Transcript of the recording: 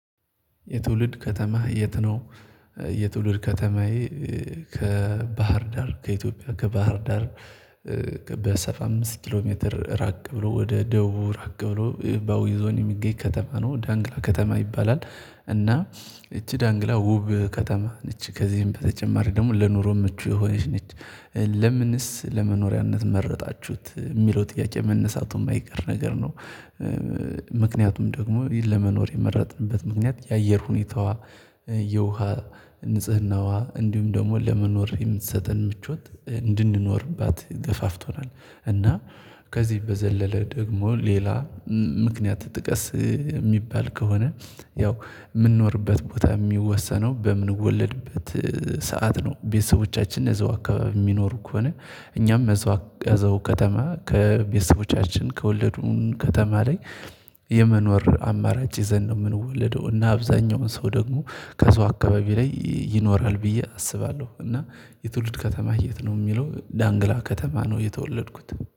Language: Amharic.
የትውልድ ከተማህ የት ነው? የትውልድ ከተማዬ ከ ባህር ዳር ከኢትዮጵያ ከ ባህር ዳር። በሰባ አምስት ኪሎ ሜትር ራቅ ብሎ ወደ ደቡብ ራቅ ብሎ በአዊ ዞን የሚገይ ከተማ ነው ዳንግላ ከተማ ይባላል። እና እቺ ዳንግላ ዉብ ከተማ ነች ከዚህም በተጨማሪ ደግሞ ለኑሮ ምቹ የሆነች ነች። ለምንስ ለመኖሪያነት መረጣችሁት የሚለው ጥያቄ መነሳቱ የማይቀር ነገር ነው። ምክንያቱም ደግሞ ለመኖር የመረጥንበት ምክንያት የአየር ሁኔታዋ የውሃ ንጽህናዋ እንዲሁም ደግሞ ለመኖር የምትሰጠን ምቾት እንድንኖርባት ገፋፍቶናል። እና ከዚህ በዘለለ ደግሞ ሌላ ምክንያት ጥቀስ የሚባል ከሆነ። ያው የምንኖርበት ቦታ የሚወሰነው በምንወለድበት ሰዓት ነው። ቤተሰቦቻችን እዛው አካባቢ የሚኖሩ ከሆነ እኛም እዛው አካባቢ ከተማ ከቤተሰቦቻችን ከወለዱን ከተማ ላይ። የመኖር አማራጭ ይዘን ነው የምንወለደው እና አብዛኛውን ሰው ደግሞ ከዛው አካባቢ ላይ ይኖራል ብዬ አስባለሁ። እና የትውልድ ከተማ የት ነው? ለሚለው ዳንግላ ከተማ ነው የተወለድኩት